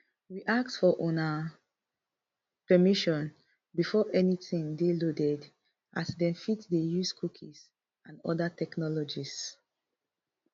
we ask for una permission before anytin dey loaded as dem fit dey use cookies and oda technologies